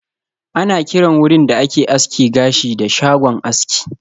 Ana kiran wurin da ake aske gashi da "shagon aski"